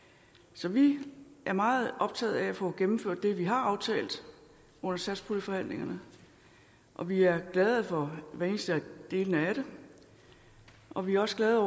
så vi er meget optaget af at få gennemført det vi har aftalt under satspuljeforhandlingerne og vi er glade for hver eneste del af det og vi er også glade